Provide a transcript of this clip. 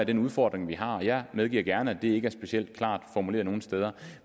den udfordring vi har jeg medgiver gerne at det ikke er specielt klart formuleret nogle steder